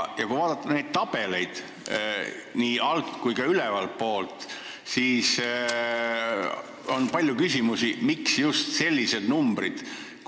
Kui vaadata neid tabeleid nii alt- kui ka ülevaltpoolt, siis on palju küsimusi, miks just sellised numbrid.